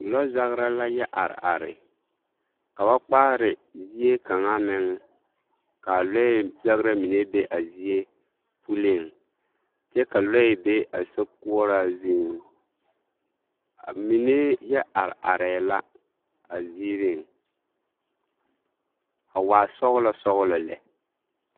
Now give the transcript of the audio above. Lɔzagera la yɔɛ are are ka ba kpaare zie kaŋa meŋ k'a lɔɛ zagera mine be a zie puliŋ kyɛ ka lɔɛ be a sokoɔraa zuŋ, amine yɛ are arɛɛ la a ziiriŋ a waa sɔgelɔ sɔgelɔ lɛ.